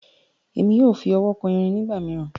Èmi yóò fí ọwọ kàn èrin nigbamiran.